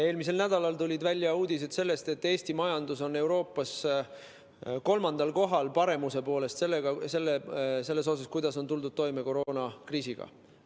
Eelmisel nädalal tulid välja uudised, et Eesti majandus on Euroopas paremuse poolest kolmandal kohal selles, kuidas on tuldud toime koroonakriisiga.